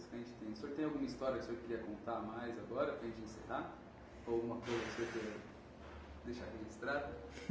O senhor tem alguma história que o senhor queria contar mais agora para a gente encerrar? Ou alguma coisa que o senhor queira deixar registrada?